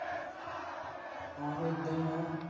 ਆਹੋ ਏਦਾ ਈ ਆ